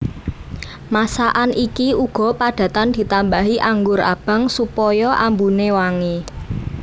Masakan iki uga padatan ditambahi anggur abang supaya ambune wangi